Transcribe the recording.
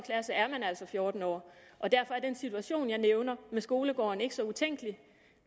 klasse er man altså fjorten år og derfor er den situation jeg nævner med skolegården ikke så utænkelig